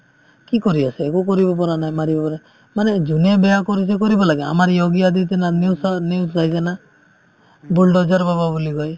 কি কৰি আছে একো কৰিব পৰা নাই মাৰিব পৰা মানে যোনে বেয়া কৰিছে কৰিব লাগে আমাৰ য়োগী আদিত্যনাথ news চাৱা news চাইছানা bulldozer বাবা বুলি কয়